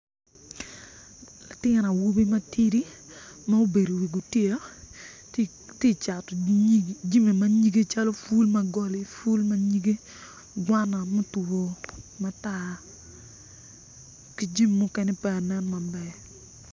Latin awobi matidi ma obedo iwi gutiya ti cato jami ma nyige calo pul ma goli pul ma nyige gwana ma otwo matar ki jami mukene pe ka nen maber.